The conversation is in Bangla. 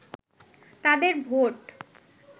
তাদের ভোট